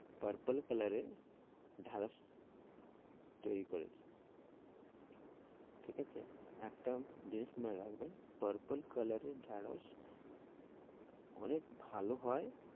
Purple colour এর ঢেঁড়স তৈরি করেছি ঠিক আছে, একটা জিনিস মনে রাখবেন purple colour এর ঢেঁড়স অনেক ভালো হয়,